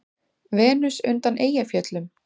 Venus undan Eyjafjöllum?